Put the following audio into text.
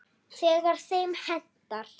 Þegar þeim hentar.